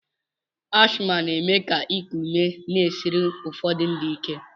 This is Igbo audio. Ashma na-eme ka iku ume na-esiri ụfọdụ ndị ike.